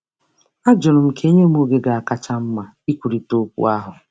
Ajụrụ m ka e nye m oge ga-akacha mma ikwurịta okwu ahụ.